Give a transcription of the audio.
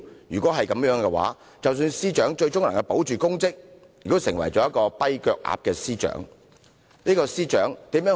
若然如此，即使司長最終能夠保住公職，亦只會成為"跛腳鴨"司長。